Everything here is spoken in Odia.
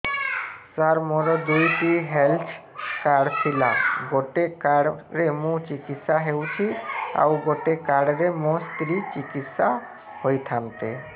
ସାର ମୋର ଦୁଇଟି ହେଲ୍ଥ କାର୍ଡ ଥିଲା ଗୋଟେ କାର୍ଡ ରେ ମୁଁ ଚିକିତ୍ସା ହେଉଛି ଆଉ ଗୋଟେ କାର୍ଡ ରେ ମୋ ସ୍ତ୍ରୀ ଚିକିତ୍ସା ହୋଇଥାନ୍ତେ